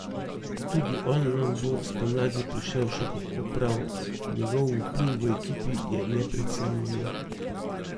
Tudi on nam bo spomladi prišel še kako prav, njegov vpliv v ekipi je neprecenljiv.